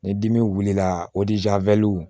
Ni dimi wulila